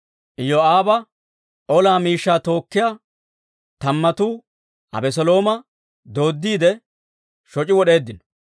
Iyoo'aaba ola miishshaa tookkiyaa tammatuu Abeselooma dooddiide, shoc'i wod'eeddino.